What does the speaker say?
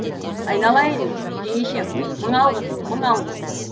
айналайын жеңешем мың алғыс мың алғыс